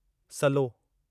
सलो